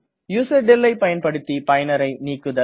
userdel ஐ பயன்படுத்தி பயனரை நீக்குதல்